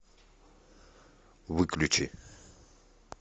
выключи